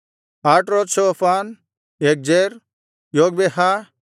ಆಟ್ರೋತ್ಷೋಫಾನ್ ಯಗ್ಜೇರ್ ಯೊಗ್ಬೆಹಾ